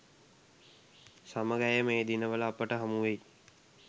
සමග ඇය මේ දිනවල අපට හමුවෙයි.